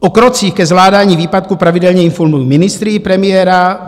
O krocích ke zvládání výpadku pravidelně informuji ministry i premiéra.